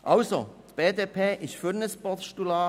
Die BDP ist für ein Postulat.